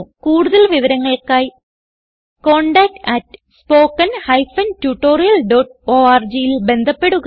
കൂടുതൽ വിവരങ്ങൾക്കായി contactspoken tutorialorgൽ ബന്ധപ്പെടുക